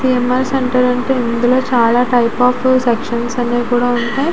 CM _R central అంటే ఇందులో చాలా టైపు ఆఫ్ సెక్షన్స్ అన్ని కూడా ఉంటాయి.